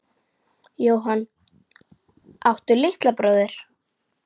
Jóhann: Áttu litla bróðir?